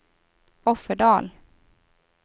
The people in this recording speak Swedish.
Offerdal